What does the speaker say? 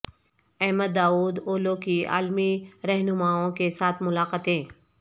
Ahmad Davutoglu کی عالمی رہنماوں کے ساتھ ملاقاتیں